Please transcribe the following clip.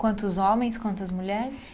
Quantos homens, quantas mulheres?